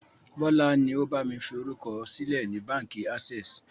Bọlá ni ó bami fi orúkọ sílẹ̀ ni Báńkì access.